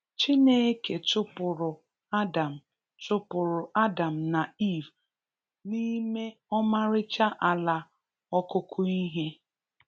Chineke chụpụrụ Adam chụpụrụ Adam na Eve n'ime ọmarịcha ala okụkụ ihe.